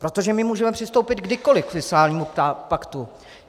Protože my můžeme přistoupit kdykoliv k fiskálnímu paktu.